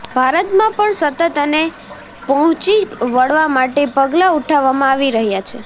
ભારતમાં પણ સતત આને પહોંચી વળવા માટે પગલા ઉઠાવવામાં આવી રહ્યા છે